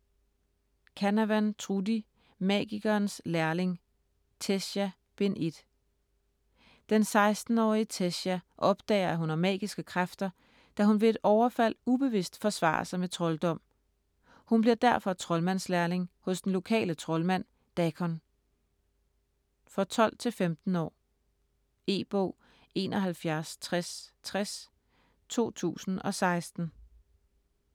Canavan, Trudi: Magikerens lærling: Tessia: Bind 1 Den 16-årige Tessia opdager, at hun har magiske kræfter, da hun ved et overfald ubevidst forsvarer sig med trolddom. Hun bliver derfor troldmandslærling hos den lokale troldmand, Dakon. For 12-15 år. E-bog 716060 2016.